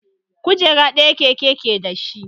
Kujera ɗaya keke ke dashi